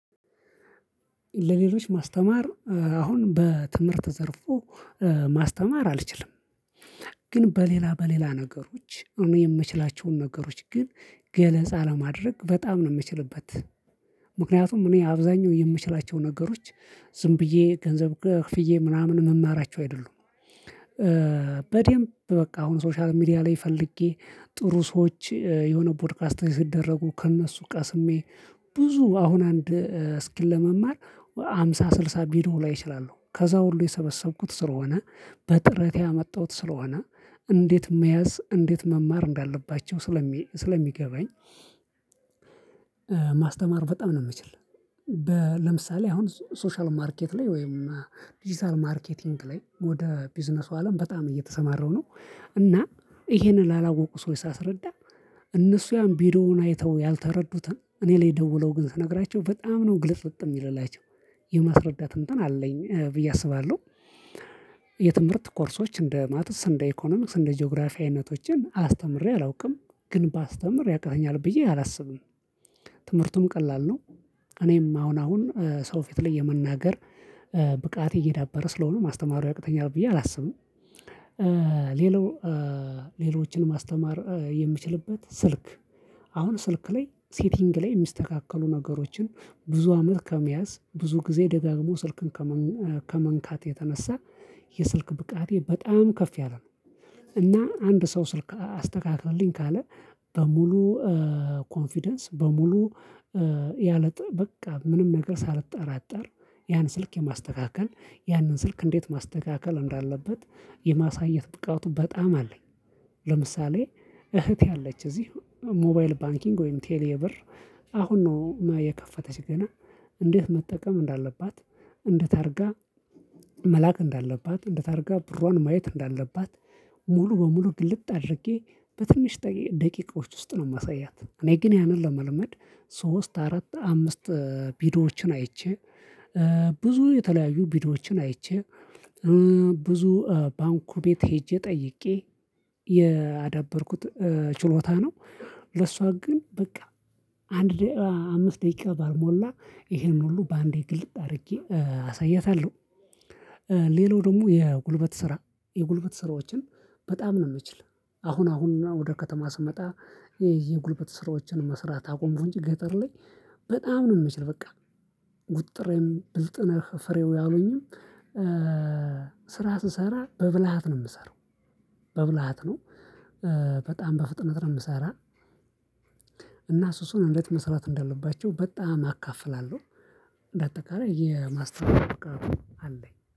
ለሌሎች ማስተማር አሁን በትምህርት ዘርፎ ማስተማር አልችልም። ግን በሌላ በሌላ ነገሮች እኔ የምችላቸውን ነገሮች ግን ገለጻ ለማድረግ በጣም ነው የምችልበት። ምክንያቱም እኔ አብዛኛው የምችላቸው ነገሮች ዝም ብዬ ገንዘብ ክፍዬ ምናምን መማራቸው አይደሉም። በደንብ በቃ አሁን ሶሻል ሚዲያ ላይ ፈልጌ ጥሩ ሰዎች የሆነ ፖድካስት ሲደረጉ ከእነሱ ቀስሜ ብዙ አሁን አንድ እስኪል ሃምሳ ስልሳ ቢሮ ላይ እችላለሁ ከዛ ሁሉ የሰበሰብኩት ስለሆነ በጥረቴ ያመጣሁት ስለሆነ እንዴት መያዝ እንዴት መማር እንዳለባቸው ስለሚገባኝ በጣም ነው። የምትችለው ለምሳሌ አሁን ሶሻል ማርኬት ላይ ወይም ዲጂታል ማርኬቲንግ ላይ ወደ ቢዝነሱ አለም በጣም እየተሰማረው ነው። እና ይሄንን ላላወቁ ሰዎች ሳስረዳ እነሱ ያን ቢዶውን አይተው ያልተረዱትን እኔ ላይ ደውለው ግን ስነግራቸው በጣም ነው ግልጽልጥ የሚልላቸው አይቻልም የማስረዳት እንትን አለኝ ብዬ አስባለሁ። የትምህርት ኮርሶች እንደ ማተስ እንደ ኢኮኖሚክስ እንደ ጂኦግራፊነቶችን አስተምሬ አላውቅም ግን ባስተምሬ ያቃተኛል ብዬ አላስብም። ትምህርቱም ቀላል ነው እኔም አሁን አሁን ሰው ፊት ላይ የመናገር ብቃት እየዳበረ ስለሆነ ማስተማሩ ያቅተኛል ብዬ አላስብም። ሌሎ ሌሎችን ማስተማር የምችልበት ስልክ አሁን ስልክ ላይ ሴቲንግ ላይ የሚስተካከሉ ነገሮችን ብዙ አመት ከመያዝ ብዙ ጊዜ ደጋግሞ ስልክን ከመንካት የተነሳ የስልክ ብቃቴ በጣም ከፍ ያለ ነው። እና አንድ ሰው ስልክ አስተካክልልኝ ካለ በሙሉ ኮንፊደንስ በሙሉ ያለ በቃ ምንም ነገር ሳልጠራጠር ያን ስልክ የማስተካከል ያንን ስልክ እንዴት ማስተካከል እንዳለበት የማሳየት ብቃቱ በጣም አለኝ። ለምሳሌ እህት ያለች እዚህ ሞባይል ባንኪንግ ወይም ቴሌብር አሁን ነው የከፈተች ገና እንዴት መጠቀም እንዳለባት እንዴት አድርጋ መላክ እንዳለባት እንዴት አድርጋ ብሯን ማየት እንዳለባት ሙሉ በሙሉ ግልጥ አድርጌ በትንሽ ደቂቃዎች ውስጥ ነው የማሳያት። እኔ ግን ያንን ለመልመድ ሶስት አራት አምስት ቢዶዎችን አይቼ ብዙ የተለያዩ ቢዶዎችን አይቼ ብዙ ባንኩ ቤት ሄጄ ጠይቄ ያደበርኩት ችሎታ ነው ለሷ ግን በቃ አንድ አምስት ደቂቃ ባልሞላ ይሄን ሁሉ በአንዴ ግልጥ አድርጌ አሳይታለሁ። ሌላው ደግሞ የጉልበት ስራ የጉልበት ስራዎችን በጣም ነው የምንችለው። አሁን አሁንና ወደ ከተማ ስመጣ የጉልበት ስራዎችን መስራት አቁም እንጂ ገጠር ላይ በጣም ነው የምችለው። በቃ ጉጥሬም ብልጥነህ ፍሬው ያሉኝም ስሰራ በብልሃት ነው የምሰራው። በብልሃት ነው በጣም በፍጥነት ነው የምሰራው። እና ሱሱን እንዴት መስራት እንዳለባቸው በጣም አካፍላለሁ። በአጠቃላይ የማስተዋወቅ አለኝ